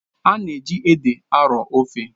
A na-eji ede arọọ ofe.